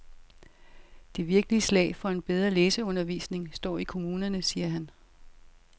Det virkelige slag for en bedre læseundervisning står i kommunerne, siger han.